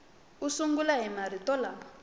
u sungula hi marito lama